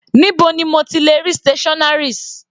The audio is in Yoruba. Níbo ni mo ti lè rí stationaries?